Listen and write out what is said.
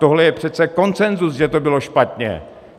Tohle je přece konsenzus, že to bylo špatně.